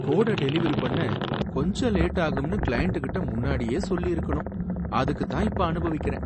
கோட டெலிவெரி பண்ண கொஞ்சம் லேட் ஆகும்னு கிளையண்ட்டுகிட்ட முன்னாடியே சொல்லிருக்கணும், அதுக்கு தான் இப்ப அனுபவிக்கறேன்.